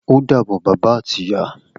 O dàbọ̀ bàbá ati ìyá